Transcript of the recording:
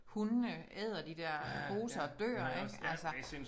Hundene æder de der poser og dør ik altså